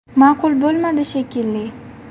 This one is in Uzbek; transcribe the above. Ma’qul bo‘lmadi shekilli.